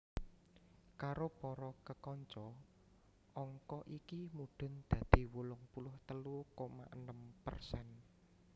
Karo para kekanca angka iki mudhun dadi wolung puluh telu koma enem persen